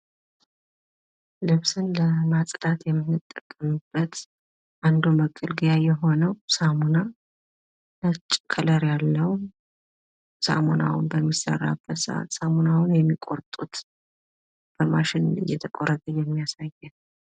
ልብስን ለማጽዳት የምንጠቀምበት አንዱ መገልገያ የሆነዉ ሳሙና ፤ ነጭ ከለር ያለዉ ፣ ሳሙናዉ በሚሰራበት ሰአት ፤ ሳሙናዉን የሚቆርጡት ፤ በማሽን እይተቆረጠ የሚያሳይ ነው።